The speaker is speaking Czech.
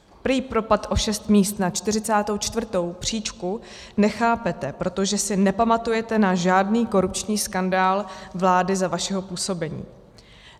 Prý propad o šest míst na 44. příčku nechápete, protože si nepamatujete na žádný korupční skandál vlády za vašeho působení.